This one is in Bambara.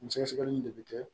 Nin sɛgɛsɛgɛli in de bɛ kɛ